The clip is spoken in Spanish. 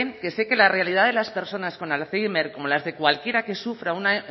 que sé que la realidad de las personas con alzeimer como las de cualquiera que sufra una